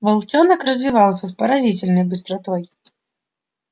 волчонок развивался с поразительной быстротой